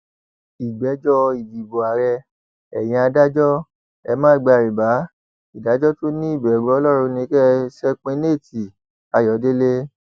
ìgbẹjọ ìdìbò ààrẹ ẹyin adájọ ẹ má gba rìbá ìdájọ tó ní ìbẹrù ọlọrun ni kẹ ẹ ṣepiñate ayọdẹlẹ